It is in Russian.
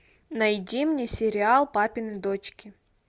найди мне сериал папины дочки